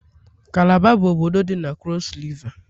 kalaba bụ obodo dị na krọs Riva.